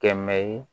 Kɛmɛ ye